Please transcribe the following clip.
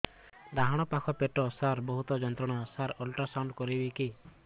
ଡାହାଣ ପାଖ ପେଟ ସାର ବହୁତ ଯନ୍ତ୍ରଣା ସାର ଅଲଟ୍ରାସାଉଣ୍ଡ କରିବି କି